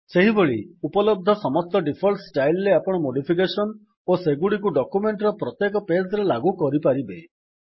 ସେହିଭଳି ଉପଲବ୍ଧ ସମସ୍ତ ଡିଫଲ୍ଟ ଷ୍ଟାଇଲ୍ ରେ ଆପଣ ମୋଡିଫିକେସନ୍ ଓ ସେଗୁଡିକୁ ଡକ୍ୟୁମେଣ୍ଟ୍ ର ପ୍ରତ୍ୟେକ ପେଜ୍ ରେ ଲାଗୁ କରିପାରିବେ